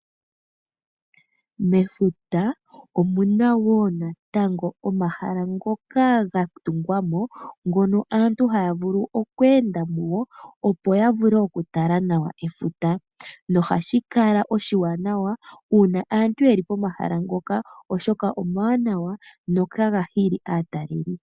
Mefuta omuna wo natango omahala ngoka ga tungwa mo, ngono antu haya vulu okweenda mugo, opo ya vule okutala nawa efuta. Nohashi kala oshiwanawa uuna aantu yeli pomahala ngoka , oshoka omawanawa notaga hili aatalelipo.